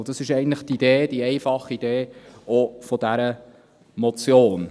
Und das ist eigentlich die Idee, die einfache Idee dieser Motion.